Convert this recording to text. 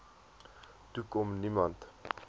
toe kon niemand